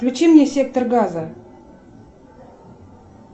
включи мне сектор газа